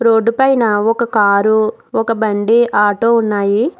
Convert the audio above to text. Road పైన ఒక car ఒక బండి ఆటో ఉన్నాయి.